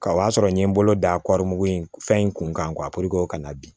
Ka o y'a sɔrɔ n ye n bolo da mugu in fɛn in kun kan o ka na bin